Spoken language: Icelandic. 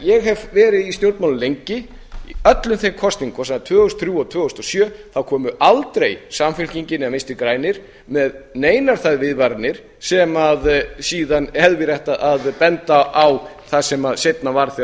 ég hef verið lengi í stjórnmálum í öllum þeim kosningum sem voru tvö þúsund og þrjú og tvö þúsund og sjö þá komu aldrei samfylkingin eða vinstri grænir með neinar þær viðvaranir sem síðan hefði verið hægt að benda á það sem seinna varð þegar